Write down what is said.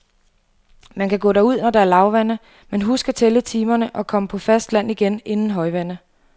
Man kan gå derud, når der er lavvande, men husk at tælle timerne og komme på fast land igen inden højvande.